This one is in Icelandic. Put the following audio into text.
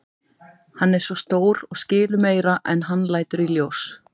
Hann er svo stór og skilur meira en hann lætur í ljós.